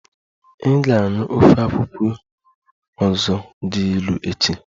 Ị ga-aṅụ ofe akwụkwọ ọzọ dị ilu echi!